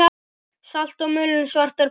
Salt og mulinn svartur pipar